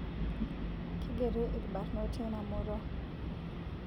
Keigeri ilbarnot teina murua